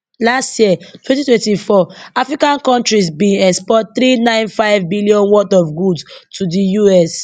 last year twenty twenty four african kontris bin export three nine five billion worth of goods to di US